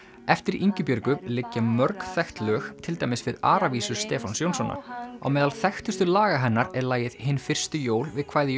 eftir Ingibjörgu liggja mörg þekkt lög til dæmis við Aravísur Stefáns Jónssonar á meðal þekktustu laga hennar er lagið Hin fyrstu jól við kvæði